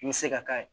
I bɛ se ka k'a ye